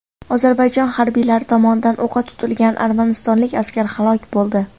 Ozarbayjon harbiylari tomonidan o‘qqa tutilgan armanistonlik askar halok bo‘ldi.